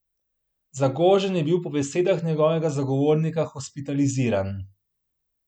Zagožen je bil po besedah njegovega zagovornika hospitaliziran.